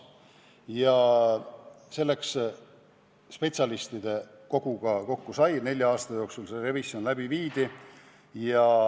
Ja selleks pandi kokku spetsialistide kogu, kes nelja aasta jooksul selle revisjoni läbi viis.